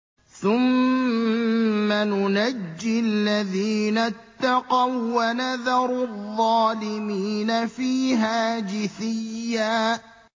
ثُمَّ نُنَجِّي الَّذِينَ اتَّقَوا وَّنَذَرُ الظَّالِمِينَ فِيهَا جِثِيًّا